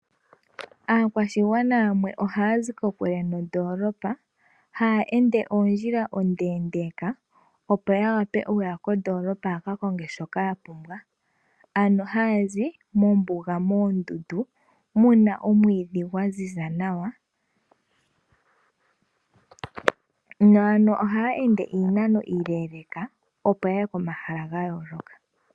Aakwashigwana yamwe ohaya zi kokule nondolopa, haya ende ondjila ondeendeka opo yawape yaye kondoolopa yaka konge shoka yapumbwa, ano haya zi mombuga moondundu muna omwiidhi gwaziza nawa . Ohaya ende iinano iiileeleeka opo yaye komahala gayooloka.